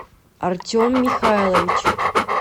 артем михайлович